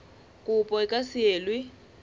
kopo e ka se elwe